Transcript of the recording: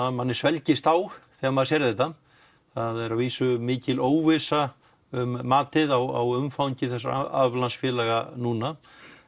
á manni svelgist á þegar maður sér þetta það er að vísu mikil óvissa um matið á umfangi þessa aflandsfélaga núna